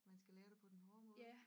Man skal lære det på den hårde måde